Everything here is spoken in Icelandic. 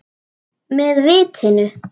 Með vitinu.